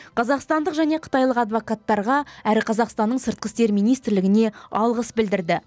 қазақстандық және қытайлық адвокаттарға әрі қазақстанның сыртқы істер министрлігіне алғыс білдірді